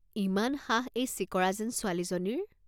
ইমান সাহ ছিকৰা যেন ছোৱালী এজনীৰ।